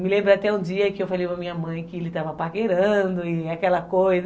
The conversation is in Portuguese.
Me lembro até um dia que eu falei com a minha mãe que ele estava paquerando e aquela coisa.